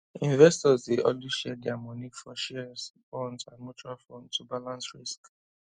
investors dey always share dia money for shares bonds and mutual fund to balance risk